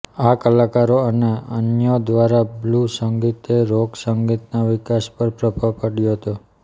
આ કલાકારો અને અન્યો દ્વારા બ્લૂઝ સંગીતે રોક સંગીતના વિકાસપર પ્રભાવ પાડ્યો હતો